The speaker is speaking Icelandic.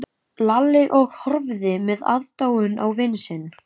Lalli og horfði með aðdáun á vin sinn.